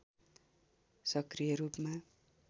सक्रिय रूपमा